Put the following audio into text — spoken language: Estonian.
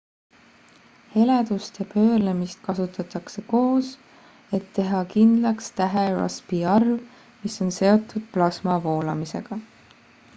heledust ja pöörlemist kasutatakse koos et teha kindlaks tähe rossby arv mis on seotud plasma voolamisega